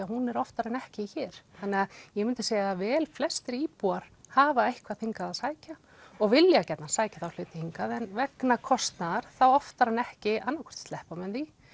hún er oftar en ekki hér þannig ég myndi segja að vel flestir íbúar hafa eitthvað hingað að sækja og vilja gjarnan sækja þá hluti hingað en vegna kostnaðar þá oftar en ekki annað hvort sleppa menn því